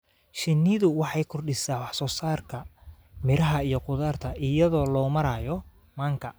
Shinnidu waxay kordhisaa wax soo saarka miraha iyo khudaarta iyada oo loo marayo manka.